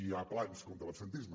hi ha plans contra l’absentisme